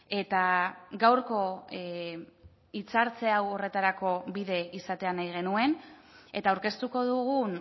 eta gaurko hitzartze hau horretarako bide izatea nahi genuen eta aurkeztuko dugun